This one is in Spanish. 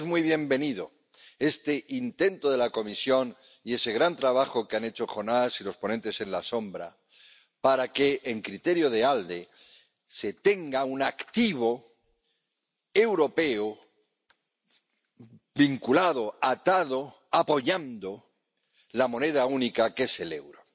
Por eso es muy bienvenido este intento de la Comisión y ese gran trabajo que han hecho Jonás y los ponentes alternativos para que, en criterio de ALDE, se tenga un activo europeo vinculado, atado, apoyando la moneda única que es el euro.